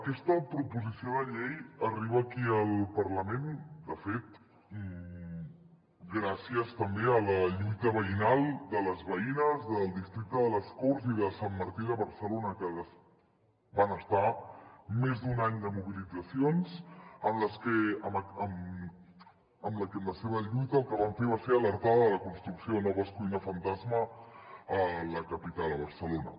aquesta proposició de llei arriba aquí al parlament de fet gràcies també a la lluita veïnal de les veïnes del districte de les corts i de sant martí de barcelona que van estar més d’un any de mobilitzacions en les que amb la seva lluita el que van fer va ser alertar de la construcció de noves cuines fantasma a la capital a barcelona